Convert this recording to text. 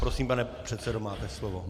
Prosím, pane předsedo, máte slovo.